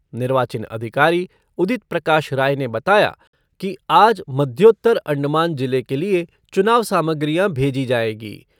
निर्वाचन अधिकारी उदित प्रकाश राय ने बताया कि आज मध्योत्तर अंडमान ज़िले के लिए चुनाव सामग्रियां भेजी जाएंगी